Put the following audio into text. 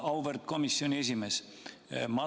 Auväärt komisjoni esimees!